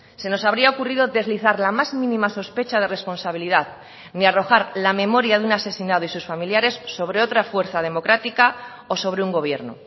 se nos habría ocurrido deslizar la más mínima sospecha de responsabilidad ni arrojar la memoria de un asesinado y sus familiares sobre otra fuerza democrática o sobre un gobierno